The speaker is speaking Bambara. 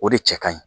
O de cɛ ka ɲi